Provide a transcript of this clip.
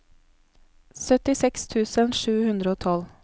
syttiseks tusen sju hundre og tolv